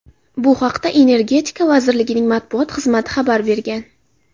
Bu haqda Energetika vazirligining matbuot xizmati xabar bergan .